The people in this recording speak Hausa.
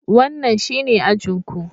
Wannan shine ajin ku.